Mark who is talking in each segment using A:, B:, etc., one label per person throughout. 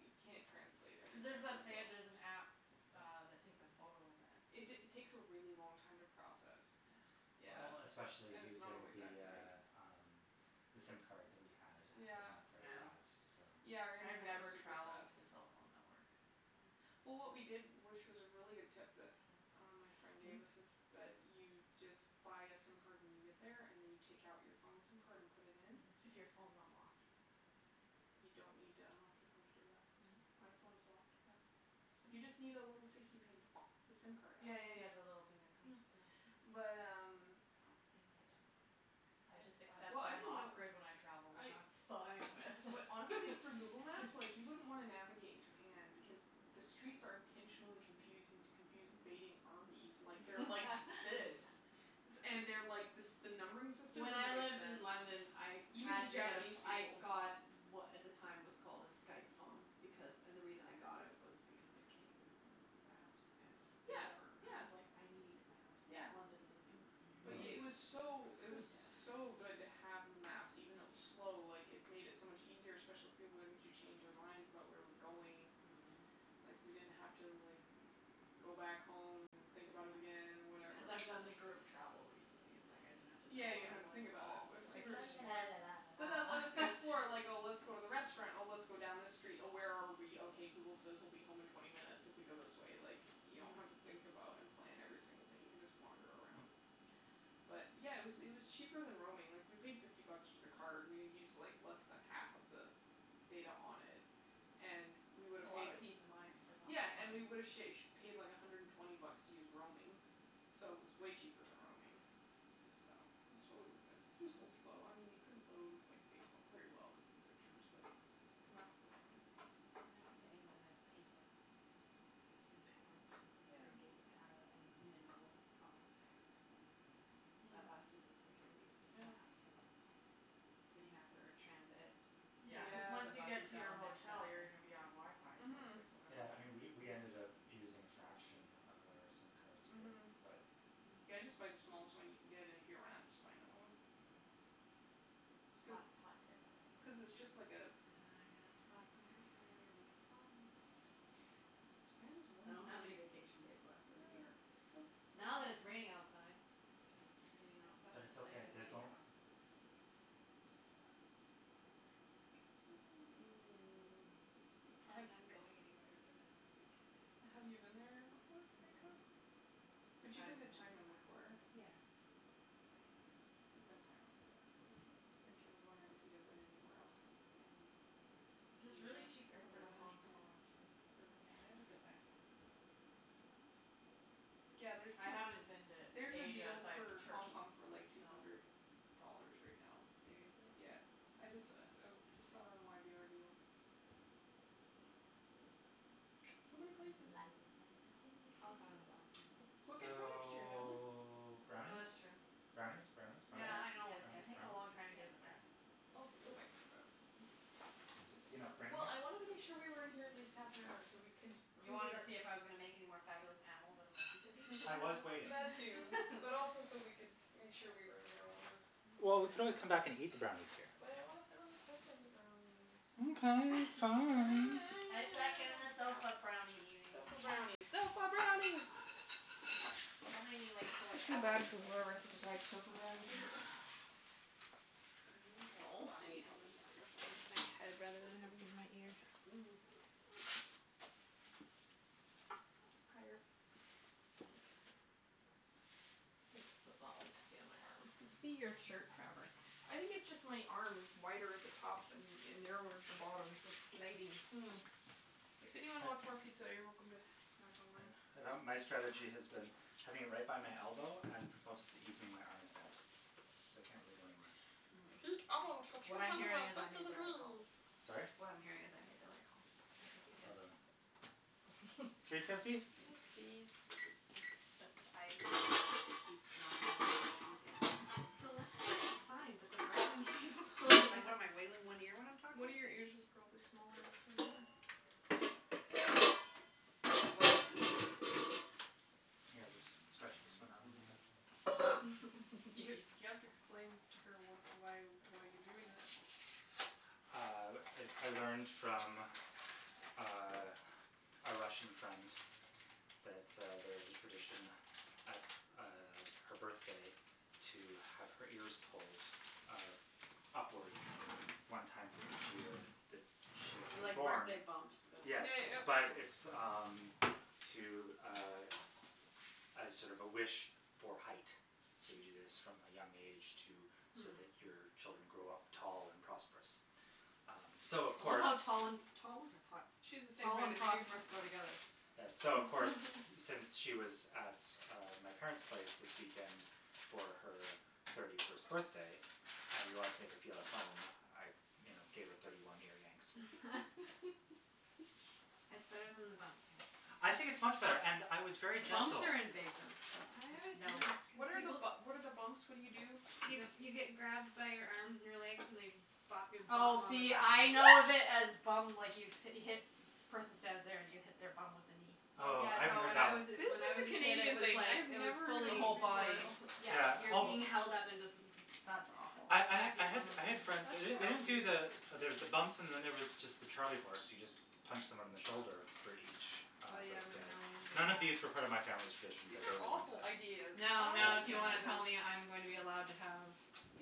A: you can't translate
B: Cuz there's
A: everything on
B: that
A: the
B: they there's
A: go.
B: an app uh that takes a photo and then it
A: It ta- takes a really long time to process.
B: Yeah.
A: Yeah.
C: Well, especially
A: And it's not
C: using
A: always
C: the,
A: accurate.
C: uh, um, the sim card that we had was not very
A: Yeah.
B: Yeah.
C: fast, so
A: Yeah, our
B: I've
A: internet was
B: never
A: super
B: travelled
A: fast.
B: with the cell phone networks, so.
A: Well, what we did, which is a really good tip that uh my friend gave
B: Mm?
A: us is that you just but a sim card when you get there and then you take out your phone sim card and put it in.
B: If your phone's unlocked.
A: You don't need to unlock your phone to do that.
B: Mm?
A: My phone's locked, yeah. You just need a
B: Hm.
A: little safety pin to the sim card out.
B: Yeah, yeah, yeah, the little thing that comes. Yeah.
A: Yeah. But um
B: Things I don't know. I just accept
A: Well, I
B: that I'm
A: didn't
B: off
A: know.
B: grid when I travel,
A: I
B: which I'm fine with.
A: But honestly, for Google Maps, like, you wouldn't wanna navigate in Japan because the streets are intentionally confusing to confuse invading armies. Like, they're like this. And they're like, this the numbering system
B: When I
A: doesn't make
B: lived
A: sense.
B: in London I
A: Even to
B: had to get,
A: Japanese
B: I
A: people.
B: got what at the time was called a Skype phone because, and the reason I got it was because it came with maps and
A: Yeah,
B: whatever. I
A: yeah,
B: was like, I need
A: yeah.
B: maps. London is
A: But
C: Oh, yeah.
A: it
B: confusing.
A: was
D: Oh,
A: so it was
D: yeah.
A: so good to have the maps. Even though it was slow, like, it made it so much easier, especially once you change your minds about where we're going.
B: Mhm.
A: Like, we didn't have to, like, go back home and think about it again and
B: Yeah.
A: whatever.
B: Cuz I've done the group travel recently. It's like, I didn't have to
A: Yeah,
B: know
A: you
B: where
A: don't
B: I
A: have to
B: was
A: think
B: at
A: about
B: all. I was like la la la la la
A: it. But then
B: la
A: let us
B: la
A: explore, like, oh, let's go to the restaurant, or let's go down this street, oh, where are we? Okay Google says we'll be home in twenty minutes if we go this way, like, you don't have to think
B: Mm.
A: about and plan every single thing. You can just wander around. But, yeah, it was it was cheaper than roaming. Like, we paid fifty bucks for the card. We used like less than half of the data on it and we would
B: It's a
A: have
B: lot
A: paid
B: of peace of mind for not
A: Yeah,
B: much
A: and we
B: money.
A: would have sha- paid like a hundred and twenty bucks to use roaming, so it was way cheaper than roaming,
B: Mm.
A: so it's totally worth it. Just a little slow. I mean, you couldn't load, like, Facebook very well cuz of the pictures, but the maps were fine.
D: When I went to England, I paid like fifteen pounds or something
A: Yeah.
D: for a gig of data and
C: Mhm.
D: minimal call and text and
C: Yeah.
B: Mm.
D: that lasted me for three weeks with
A: Yeah.
D: maps, and City Mapper, transit.
B: Yeah, cuz
D: Sometimes the
B: once you
A: Yeah.
B: get
D: buses
B: to
D: got
B: your
D: all messed
B: hotel
D: up,
B: you're gonna
D: but
B: be on WiFi, so it's like
A: Mhm.
B: whatever.
C: Yeah, and we we ended up using a fraction of our sim cards with
A: Mhm.
C: that.
B: Mm.
A: Yeah, just buy the smallest one you can get, and if you run out just buy another one.
C: Yeah.
A: Cuz
B: Hot, hot tip, I like
A: cuz it's
B: it.
A: just like a
B: Ah, I'm gonna have to buy some airfare. You're making problems.
A: His parents
B: I don't have any vacation days left for the year.
A: It's so
B: Now that
A: so
B: it's raining outside.
C: Yeah,
D: Maybe not. I saw
C: but
D: a
C: it's
D: flight
C: okay,
D: to
C: there's
D: Bangkok that was like six hundred and fifty bucks for November and I was like I wasn't really planning on going anywhere, but now I'm really tempted.
A: Have you been there before, to
D: No.
A: Bangkok?
B: I
A: But you've
B: haven't
A: been to
B: been to Thailand
A: China before.
B: either.
D: Yeah. But Bangkok is
A: It's
D: in
A: in
D: Thailand.
A: Thailand, yeah, but I was thinking, I was wondering if you had been anywhere else in in
B: There's really
A: Asia
B: cheap air fare to Hong Kong, too.
D: Yeah, I would go back to Hong Kong.
B: Mm.
A: Yeah, there's
B: I
A: to
B: haven't been to
A: There's a
B: Asia
A: deal
B: aside from
A: for Hong
B: Turkey,
A: Kong for, like, two
B: so.
A: hundred dollars right now.
D: Seriously?
A: Yeah.
D: I
A: I
D: like
A: just
D: it.
A: I
D: That's
A: just saw it
D: tempting.
A: on y b r deals. So many places.
B: La la la la la.
D: Hong Kong is awesome, though.
A: Book it for next year, Natalie.
C: So,
B: Oh, that's
C: brownies?
B: true.
C: Brownies, brownies, brownies,
B: Yeah, I
D: Yes,
B: know. It's
C: brownies,
D: yes,
B: taking a
C: brownies?
B: long
D: yes,
B: time to get to the
D: yes.
B: brownies.
A: go make some brownies.
C: Just, you know, bring
A: Well,
C: this.
A: I wanted to make sure we were in here at least half an hour so we can
B: You wanted to see if I was gonna make any more fabulous animals out of my pizza piece?
C: I was waiting.
A: That too, but also so we could make sure we were in here long enough.
C: Well, we could always come back and eat the brownies here.
A: But I want to sit on the sofa and eat brownies.
C: Okay, fine.
B: I second the sofa brownie eating.
A: Sofa brownies, sofa brownies!
B: Just don't make me, like, pull
A: I
B: it
A: feel
B: out of
A: bad
B: the
A: for
B: sofa
A: whoever has
B: cushion
A: to
B: cuz
A: type
B: that's
A: sofa
B: not what I
A: brownies
B: wanna
A: now.
B: do.
D: I need to, like,
A: Oh, I
D: bobby
A: need
D: pin
A: help
D: this
A: again.
D: microphone to my head rather than having it in my ear.
B: Mm.
A: Higher. Thank you. This thing just does not like to stay on my arm.
B: It must be your shirt fabric.
A: I think it's just my arm is wider at the top than and narrower at the bottom so it's sliding.
B: Mm.
A: If anyone wants more pizza, you're welcome to snack on mine.
C: my strategy has been having it right by my elbow and most of the evening my arm is bent, so it can't really go anywhere.
B: Mm.
A: Heat oven to three
B: What I'm
A: hundred
B: hearing
A: and
B: is I
A: fifty
B: made the right call.
A: degrees.
C: Sorry?
B: What I'm hearing is I made the right call.
D: I think you did.
C: Well done. Three
B: Except
C: fifty?
A: Yes, please.
B: I keep not having using
D: The left one is fine, but the right one keeps falling.
B: in one ear when I'm talking?
A: One of your ears is probably smaller
C: Here, we'll just stretch this one out a little bit.
A: You you have to explain to her what why why you're doing that.
C: Uh, I I learned from uh a Russian friend that uh there's a tradition at uh her birthday to have her ears pulled uh upwards one time for each year that she's
B: Like
C: born.
B: birthday bumps but
C: Yes, but it's, um, to, uh, as sort of a wish for height. So, you do this from a young age to so that your children
D: Mm.
C: grow up tall and prosperous. Um so of
B: I love
C: course
B: how tall and tall? That's hot.
A: She's the same
B: Tall
A: height
B: and
A: as you.
B: prosperous go together.
C: So, of course, since she was at uh my parents' place this weekend for her thirty first birthday and we wanted to make her feel at home, I you know, gave her thirty one ear yanks.
D: That's better than the bumps, I have to say.
C: I think it's much better, and I was very
B: Bumps
C: gentle.
B: are invasive. That's
D: I always
B: just no.
D: hated
A: What
D: because
A: are,
D: people
A: what are the bumps? What do you do?
D: You you get grabbed by your arms and your legs and they bop your bum
B: Oh,
D: on the
B: see, I know
D: ground.
B: it as
A: What?
B: bum, like, you hit, the person stands there and you hit their bum with a knee.
D: Oh,
C: Oh,
D: yeah,
C: I haven't
D: no,
C: heard
D: when
C: that
D: I was
C: one.
A: This
D: when
A: is
D: I was
A: a
D: a kid it
A: Canadian
D: was
A: thing. I
D: like,
A: have
D: it was
A: never heard
B: The
A: of
D: fully
A: this
B: whole
A: before.
B: body.
D: Oh, yeah,
C: Yeah
D: you're being held up and just
B: That's awful.
C: I I ha- I had I had friends, they don't they don't do the there's the bumps and then there was just the charlie horse; you just punch someone in the shoulder for each uh
D: Oh, yeah, I
C: birthday.
D: remember we would do
C: None of these
D: that.
C: refer to my family's traditions
A: These are awful
D: Yeah.
A: ideas.
B: Now,
A: Why
B: now, if
A: would
B: you
A: you do
B: want to
A: this?
B: tell me I'm going to be allowed to have,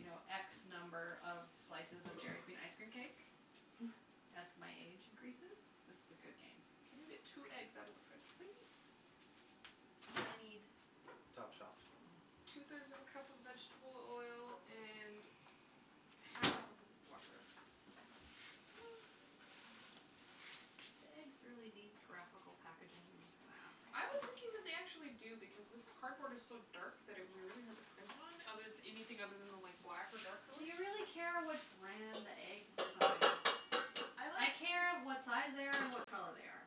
B: you know, x number of slices of Dairy Queen ice cream cake as my age increases, this is a good game.
A: Can you get two eggs out of the fridge, please? I need
C: Top shelf.
A: Two
B: Hm.
A: thirds of a cup of vegetable oil and half a cup of water.
B: Do eggs really need graphical packaging? I'm just gonna ask.
A: I was thinking that they actually do because this cardboard is so dark that it would be really hard to print on, other anything other than the like black or dark
B: Do
A: colors.
B: you really care what brand the eggs you're buying? I care what size they are and what color they are.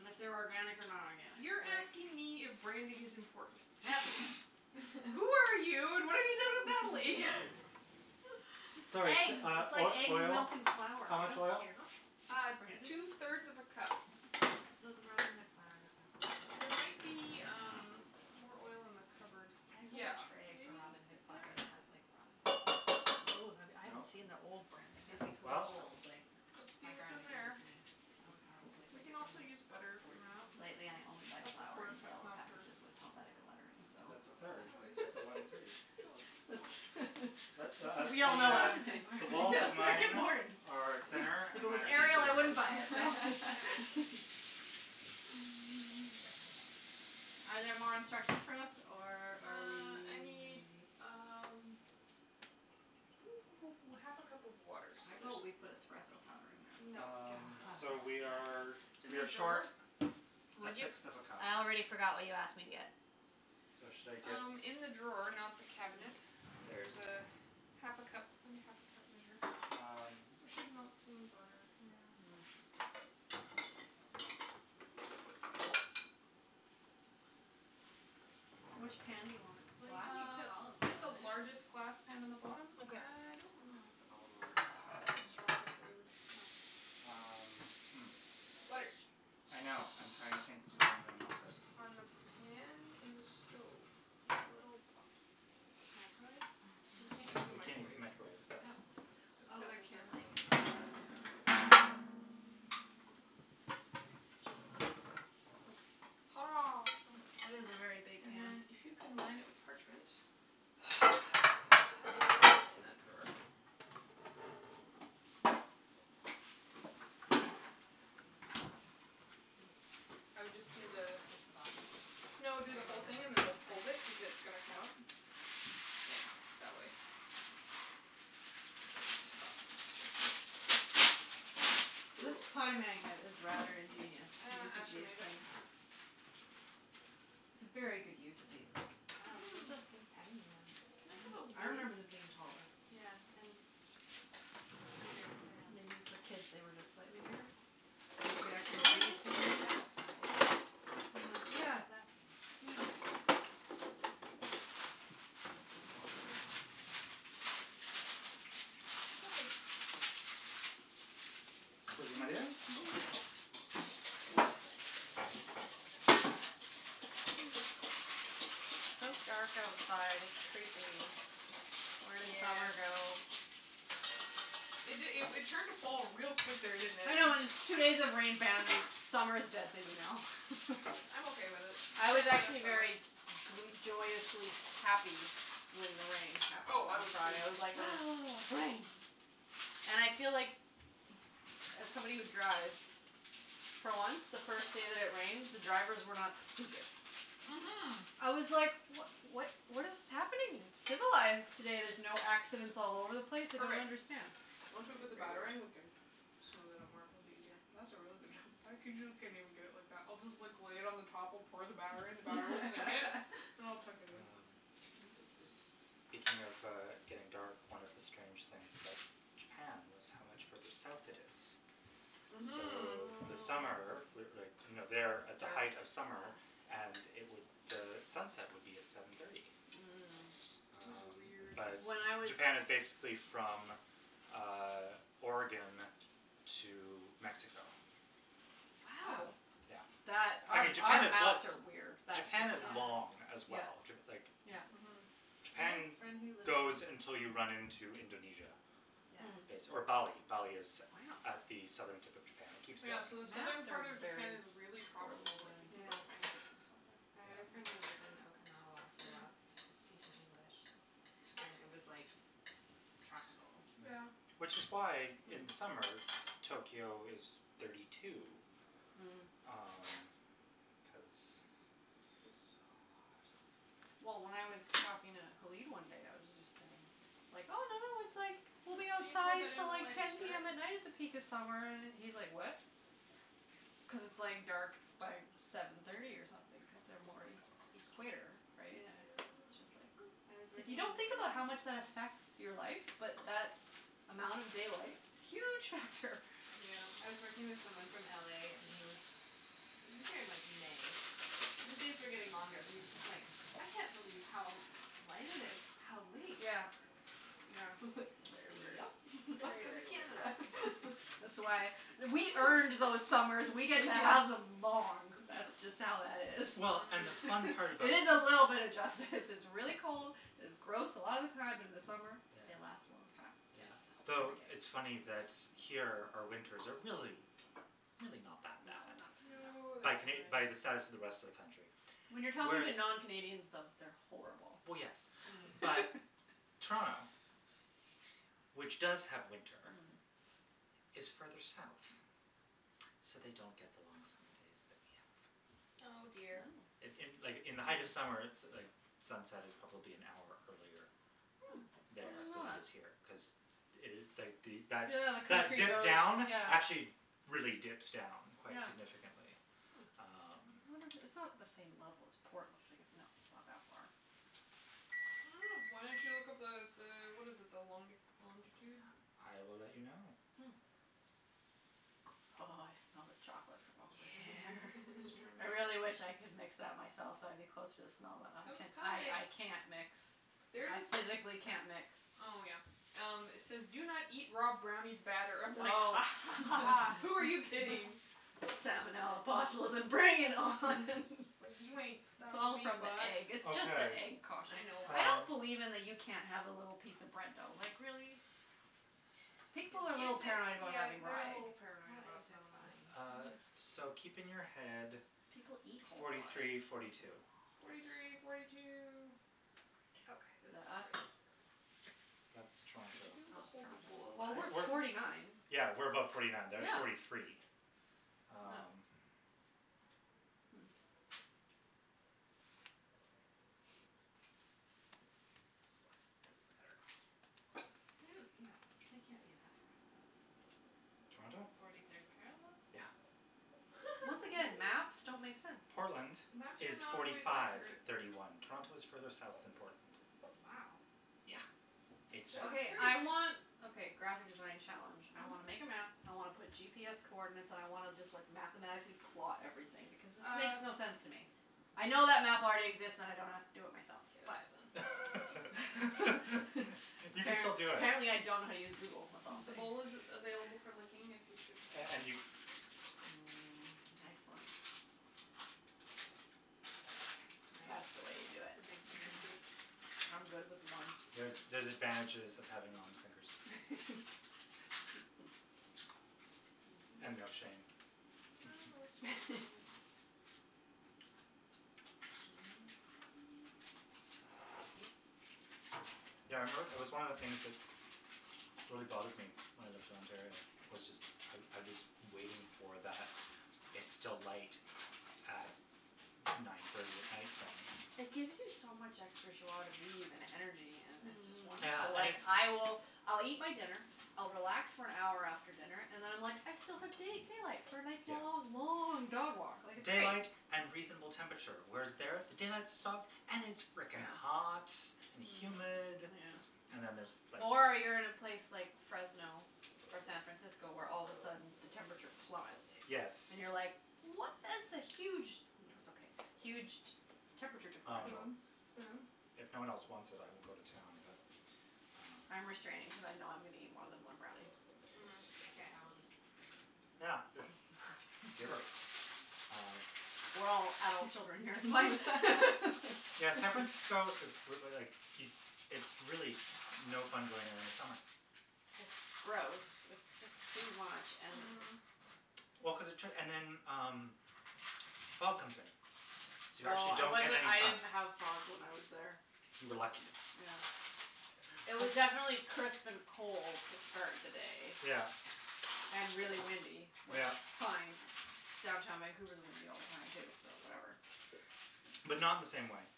B: And if they're organic or not organic.
A: You're asking me if branding is important? Natalie. Who are you and what have you done with Natalie?
C: Sorry,
B: Eggs;
C: uh,
B: it's like
C: uh,
B: eggs,
C: oil,
B: milk and flour.
C: how
B: I don't
C: much oil?
B: care what brand it
A: two
B: is.
A: thirds of a cup.
D: Though the Robin Hood flour does have
A: There
D: some
A: might be, um, more oil in
B: Yeah.
A: the cupboard.
D: I have like
A: Yeah,
D: a tray from
A: maybe.
D: Robin
A: Is
D: Hood that
A: there?
D: it has like Robin Hood.
B: Oh, that would, I haven't
C: No.
B: seen the old branding.
D: It's ,
B: That'd
D: like,
B: be
C: Well?
B: cool.
D: old, like,
A: Let's see
D: my
A: what's in
D: grandma gave it
A: there.
D: to me.
B: Oh
D: It's probably
B: it's
D: like
A: We can
B: probably
D: from
A: also
D: the
A: use butter if we
D: forties
A: run
D: or
A: out.
B: Lately
D: something.
B: I only buy
A: That's a
B: flour
A: quarter
B: in
A: cup,
B: yellow
A: not a third.
B: packages with Helvetica lettering, so.
C: That's a third.
A: Oh,
C: It's
A: is it?
C: got the one three.
A: Oh, it's so small.
B: We all
C: The,
B: know what
C: uh,
B: I'm saying.
C: the walls of
B: That's very
C: mine
B: important.
C: are thinner,
B: If it
C: and mine
B: was
C: are deeper
B: Arial, I
C: than
B: wouldn't
C: yours.
B: buy it Are there more instructions for us, or are
A: Uh, I need,
B: we?
A: um half a cup of water, so
B: How
A: there's.
B: about we put espresso powder in there?
A: No,
C: Um,
A: no.
C: so we are
D: Yes.
C: we are short
A: drawer?
C: a
B: What'd you?
C: sixth of a cup.
B: I already forgot what you asked me to get.
C: So, should I get?
A: Um, in the drawer, not the cabinet there's half a cup. Find a half a cup measure.
C: Um.
A: We should melt some butter, yeah.
B: Which pan do you
C: Uh
B: want?
D: Well, you
B: Glass?
D: can
A: Uh,
D: put olive
A: get the
D: oil in it.
A: largest glass pan in the bottom. I don't want
B: Okay.
A: to put olive oil cuz it's so strong flavored.
D: Oh.
C: Um, hm.
A: Butter.
C: I know, I'm trying to think how I'm going to melt it.
A: On the pan, in the stove, in a little pot.
D: Microwave?
A: We can't use the
C: we can't use
A: microwave.
C: the microwave, that's
D: Oh.
A: It's
D: Oh,
A: got a
D: cuz the
A: camera
D: thing is
A: on it,
D: on it.
A: yeah. Hurrah.
B: It is a very big
A: And
B: pan.
A: then if you can line it with parchment.
D: Where's
A: There is
D: the
A: parchment in
D: parchment?
A: that drawer. I would just do the
D: Just the bottom?
A: No, do the whole thing and then we'll fold it cuz it's gonna come up. Yeah, that way. Yes.
B: This
A: Cool.
B: pie magnet is rather ingenious,
A: Uh made it.
B: things. It's a very good use of these things.
D: Wow, they make
A: Mhm.
D: those things tiny now.
A: Can I
B: I
A: have
B: remember them
A: a
B: being
A: whisk?
B: taller.
D: Yeah, and bigger around.
B: Maybe for kids they were just slightly bigger? You could actually
D: Well, they're
B: breathe through
D: usually,
B: the
D: like,
B: middle.
D: that size.
B: Yeah, yeah, yeah.
A: Perfect.
C: my dear.
B: It's so dark outside, it's creepy. Where did summer
D: Yeah.
B: go?
A: It it it turned to fall real quick there, didn't it?
B: I know, it's two days of rain, bam, summer's dead to me now.
A: I'm okay with it
B: I was actually very gr- joyously happy when the rain happened
A: Oh, I
B: on
A: was, too,
B: Friday. I
A: I
B: was
A: was
B: like,
A: thrilled.
B: "Ah, rain." And I feel like, as somebody who drives, for once, the first day that it rained, the drivers were not stupid.
A: Mhm.
B: I was like, what what what is happening? It's civilized today, there's no accidents all over the place, I don't
A: Perfect.
B: understand.
A: Once we put the batter
B: Weird.
A: in, we can smooth it out more; it'll be easier. That's a really good job. I get it like that. I'll just like lay it on the top or pour the batter in, the batter will sink it and I'll tuck it in.
C: Um, is speaking of uh getting dark, one of the strange things about Japan was how much further south it is.
A: Mhm.
C: So the summer, with like, you know
B: Dark.
C: they're at the height of summer and it would, sunset would be at seven thirty.
B: Mm.
A: It was
C: Um,
A: weird.
C: but
B: When I was
C: Japan is basically from um Oregon to Mexico.
B: Wow.
C: Yeah.
B: That
C: I
B: our
C: mean, Japan
B: our
C: is
B: maps are weird.
C: Japan is long as
B: Yeah,
C: well. Like
B: yeah.
A: Mhm.
C: Japan goes until you run into Indonesia
B: Mm.
C: base or
B: Wow.
C: Bali. Bali is at the southern tip of Japan. It keeps
A: Yeah, so the southern
B: Maps are
A: part of
B: very
A: Japan is really
B: poorly
A: tropical, like, you
B: designed.
A: can grow
D: Yeah.
A: pineapples and stuff there.
D: I had a friend who lived
C: Yeah.
D: in Okinawa for a
A: Mhm.
D: while cuz he was teaching English and it was like tropical.
C: Yeah.
A: Yeah.
C: Which is why in
B: Hm.
C: summer, Tokyo is thirty two,
B: Mm.
C: um, cuz
A: It was so hot.
B: Well, when I was talking to Halib one day, I was just saying, like, oh, no, no, it's like we'll be outside till like ten PM at night at the peak of summer, and he's like, what? Cuz it's like dark by seven thirty or something cuz they're more e- equator, right?
D: Yeah.
B: It's
A: Thank
B: just like
D: I was
B: If you
D: working in
B: don't
A: you.
B: think about how much that affects your life but that amount of daylight, huge factor.
D: I
A: Yeah.
D: was working with someone from LA and he was, he was here in, like, May, but the days were getting longer and he was just like, I can't believe how light it is how late.
B: Yeah, yeah. Very weird.
D: Yep,
B: Very,
D: welcome
B: very
D: to
B: weird.
D: Canada.
B: That's why we earned those summers. We get to have them long, that's just how that is.
C: Well, and the
A: Mm.
C: fun part about
B: It is a little bit of justice. This is really cold, it's gross a lotta time, but in the summer
C: Yeah.
B: they last a long time.
C: Yeah.
D: Yes.
C: The it's funny that here our winters are really, really not that
B: No,
C: bad.
B: not that bad.
A: No,
D: No.
C: By Cana-
A: they're ,
C: by the
A: fine.
C: status of the rest of the country,
B: When you're talking
C: whereas
B: to non Canadians, though, they're horrible.
C: Well, yes,
D: Mm.
C: but Toronto, which does have winter,
B: Mm.
C: is further south, so they don't get the long summer days that we have.
A: Oh, dear.
C: In
B: Wow.
C: in like, in the height of summer, so like the sunset is probably an hour earlier
B: Hm, I
C: there
B: didn't
C: than
B: know
C: it
B: that.
C: is here.
D: Hm.
C: Cuz
B: Yeah, the country goes,
C: down,
B: yeah.
C: actually really dips down quite
B: Yeah.
C: significantly, um.
B: I
D: Hm.
B: wonder if it, it's not the same level as Portland. Like it not
A: I don't know. Why don't you look up the the, what is it, the long- the longitude?
C: I will let you know.
B: Hm. Oh, I smell the chocolate from over
A: Yeah,
B: here.
A: just trying to make
B: I
A: sure.
B: really wish I could mix that myself so I'd be closer to smell that.
A: Come, come
B: I
A: mix.
B: I can't mix.
A: There's
B: I
A: this.
B: physically can't mix.
A: Oh, yeah. Um, it says do not eat raw brownie batter. I'm like a
B: Oh.
A: ha ha ha, who are you kidding?
B: Salmonella, botulism, bring it on
A: It's like, you ain't
B: It's
A: stopping
B: all
A: me,
B: from the
A: box.
B: egg. It's just the
C: Okay.
B: egg caution.
A: I know.
B: I don't
C: Um
B: believe in the you can't have a little piece of bread dough. Like, really? People are a
A: If
B: little
A: they,
B: paranoid about
A: yeah,
B: having raw
A: they're a
B: egg.
A: little paranoid
D: Raw
A: about
D: eggs are
A: salmonella.
D: fine.
C: Uh, so keep in your head
B: People eat whole
C: forty
B: raw
C: three,
B: eggs.
C: forty two.
A: Forty three, forty two.
B: Forty two.
A: Okay,
B: Is
A: this is
B: that us?
A: ready for it.
C: That's
B: Oh,
A: Would you be
C: Toronto.
A: able to
B: it's
A: hold the bowl
B: Toronto. Well, we're forty nine.
C: Yeah, we're above forty nine. They're at forty
B: Yeah.
C: three.
B: No.
C: Um.
B: Hm.
A: This is quite a thick batter.
D: They, no, they can't be that far south.
C: Toronto?
D: Forty third parallel?
C: Yeah.
B: Once again, maps don't
D: Really?
B: make sense.
C: Portland
A: Maps are
C: is
A: not
C: forty
A: always
C: five,
A: accurate.
C: thirty one. Toronto is further south than Portland.
D: Wow.
C: Yeah.
D: That's
A: That's
C: It's south.
B: Okay.
D: fascinating.
B: I
A: that's
B: want, okay, graphic design challenge. I
A: Mhm.
B: wanna make a map, I wanna put GPS coordinates and I wanna just, like, mathematically plot everything because this makes
A: Uh.
B: no sense to me. I know that map already exists and I don't have to do it
A: Get out
B: for
A: then.
B: myself, but
C: You can
B: App-
C: still do it.
B: apparently I don't know how to use Google, that's all I'm
A: The
B: saying.
A: bowl is available for licking if you should.
C: And and you
B: Mm, excellent. That's the way you do it.
D: Nice, the
B: Mhm.
D: big
B: I'm good with one.
C: There's, there's advantages of having long fingers. And no shame.
A: I've no
B: Mhm.
A: shame.
B: Mhm.
C: Yeah, I remember, it was one of the things that really bothered me when I lived in Ontario was just I I was waiting for that it's still light at nine thirty at night thing.
B: It gives you so much extra jois de vivre and energy and it's just
C: Yeah,
A: Mm.
B: wonderful.
C: I
B: Like, I will, I'll eat my dinner, I'll relax for an hour after dinner and then I'm like, I still have da- daylight for a nice
C: Yeah.
B: long, long dog walk, like, it's
C: Daylight
B: night.
C: and reasonable temperature. Whereas there, the daylight stops and it's frickin'
B: Yeah.
C: hot and humid
D: Mm.
A: Yeah.
C: and then there's, like.
B: Or you're in a place like Fresno or San Francisco, where all of a sudden the temperature plummets.
C: Yes.
B: And you're, like, what is the huge No, it's okay. Huge t- temperature
C: Um,
B: differential.
A: Spoon, spoon?
C: if no one else wants it, I will go to town, but um
B: I'm restraining cuz I know I'm gonna eat more than one brownie.
A: Mhm.
D: Okay, I will just lick the
C: Yeah,
D: spoon.
C: good. Giver. Uh.
B: We're all adult children here, like
C: Yeah, San Francisco is like, it it's really no fun going there in the summer.
B: It's gross. It's just too much, and
A: Mm.
C: Well, cuz it took, and then, um, the fog comes in, so you actually
B: Oh, it
C: don't get
B: wasn't,
C: any
B: it
C: sun.
B: didn't have fog when I was there.
C: You were lucky.
B: Yeah. It was definitely crisp and cold to start the day.
C: Yeah.
B: And really windy, which
C: Yeah.
B: fine. Downtown Vancouver is windy all the time, too, so whatever.
C: But not in the same way.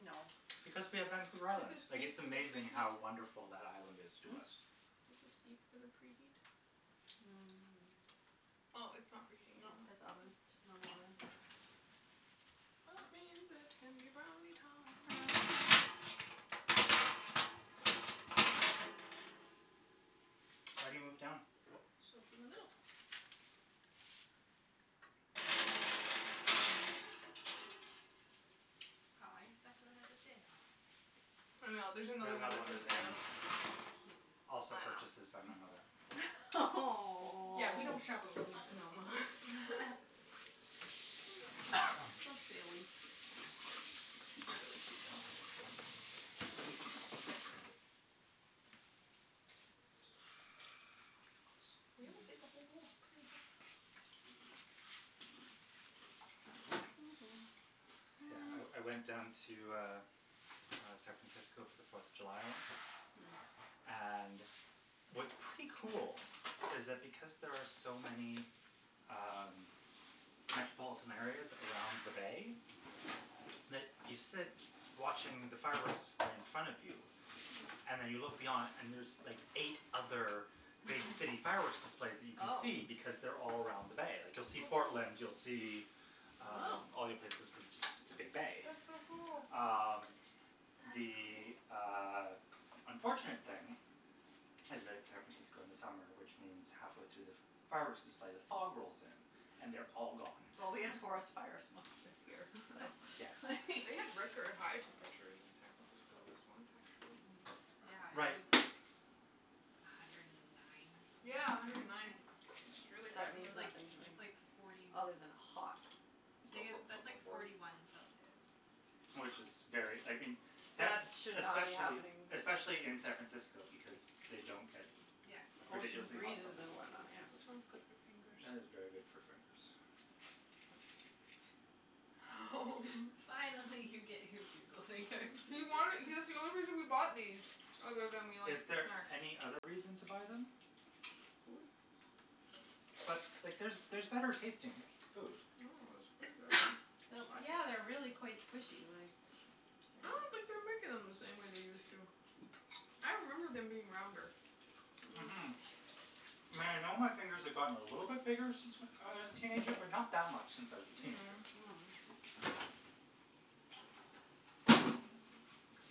B: No.
C: Because we have Vancouver
A: Do
C: Island.
A: these
C: Like,
A: beep
C: it's
A: for the
C: amazing
A: preheat?
C: how wonderful that island is to
B: Hm?
C: us.
A: Do these beep for the preheat?
B: Mm.
A: Oh, it's not preheating
B: No, it
A: anymore,
B: says oven,
A: okay.
B: normal oven.
A: That means it can be brownie
B: Brownie time.
A: time.
C: I already moved it down.
A: So it's in the middle.
D: Aw, your spatula has a J on it.
A: I know, there's
C: There's
A: another one
C: another
A: that
C: one
A: says
C: with an M.
A: M.
D: Cute.
C: Also purchases by my mother.
A: S- yeah, we don't shop at Williams Sonoma. Just daily. They're really cute, though. Ah, Bugles. We almost ate the whole bowl. Pretty impressive.
B: Mm.
C: Yeah, I I went down to, uh, San Francisco for the Fourth of July once.
B: Mm.
C: And what's pretty cool is that because there are so many um metropolitan areas around the bay, that you sit watching the fireworks display in front of you And
B: Mm.
C: then you look beyond and there's like eight other big city fireworks displays that you can
B: Oh.
C: see because they're all around the bay. Like, you'll see Portland, you'll see um
B: Wow.
C: all the other places cuz it's just it's a big bay.
A: That's so cool.
C: Uh,
B: That's
C: the,
B: cool.
C: uh, unfortunate thing is that it's San Francisco in the summer, which means halfway through the fireworks display, the fog rolls in and they're all gone.
B: Well, we have forest fires month this year, so
C: Yes.
A: They have record high temperatures in San Francisco this month, actually.
B: Mm.
D: Yeah, it
C: Right.
D: was like a hundred and nine or something,
A: Yeah, a
D: like,
A: hundred and nine,
D: Fahrenheit.
A: which is really high
B: That
D: Which
C: Yeah.
A: for.
B: means
D: is like,
B: nothing to
D: it's
B: me.
D: like forty
B: Other than hot
D: Tha- that's like
A: forty.
D: forty one Celsius.
C: Which is very, I mean, San
B: That is should not be
C: Especially,
B: happening.
C: especially in San Francisco because they don't get
D: Yeah.
B: Ocean
C: ridiculously hot
B: breezes
C: summers.
B: and whatnot, yeah.
A: This one's good for fingers.
C: That is very good for fingers.
D: Fine, I'll let you get your Bugle fingers.
A: He wanted. That's the only reason we bought these, other than we
C: Is
A: like snacks.
C: there any other reason to buy them? But, like, there's there's better tasting food.
A: No, it's really good.
B: Yeah, they're really quite squishy, like
A: I don't think they're making them the same way they used to. I remember them being rounder.
B: Mhm.
C: Mhm. I know my fingers have gotten a little bit bigger since I was a teenager, but not that much since I was a teenager.
D: Mm.
B: Mm.